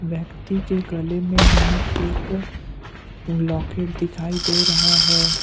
व्यक्ति के गले में हमें एक लॉकेट दिखाई दे रहा है।